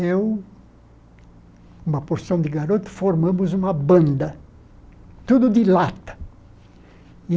Eu, uma porção de garoto, formamos uma banda, tudo de lata.